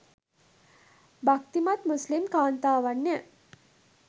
භක්තිමත් මුස්ලිම් කාන්තාවන්ය